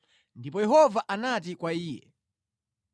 ndipo Yehova anati kwa iye,